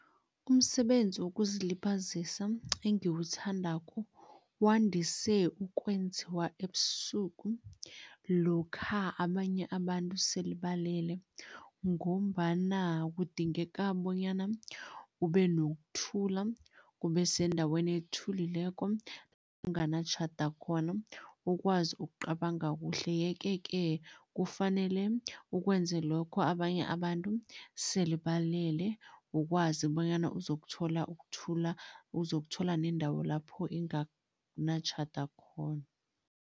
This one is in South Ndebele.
Umsebenzi wokuzilibazisa engiwuthandako wandise ukwenziwa ebusuku lokha abanye abantu sele balele ngombana kudingeka bonyana ube nokuthula, kube sendaweni ethulileko kunganatjhada khona, ukwazi ukucabanga kuhle yeke-ke kufanele ukwenze lokho abanye abantu sele balele, ukwazi bonyana uzokuthola ukuthula, uzokuthola nendawo lapho inganatjhada khona.